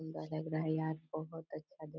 सुंदर लग रहा है यार बहोत अच्छा देख--